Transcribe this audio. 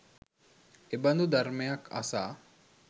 එබඳු ධර්මයක් අසා